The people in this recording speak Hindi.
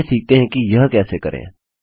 चलिए सीखते हैं कि यह कैसे करें